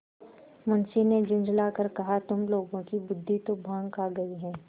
मुंशी ने झुँझला कर कहातुम लोगों की बुद्वि तो भॉँग खा गयी है